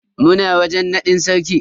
Muna wajen nadin sarki.